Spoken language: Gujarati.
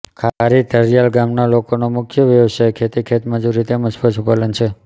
ખારી ધારીયાલ ગામના લોકોનો મુખ્ય વ્યવસાય ખેતી ખેતમજૂરી તેમ જ પશુપાલન છે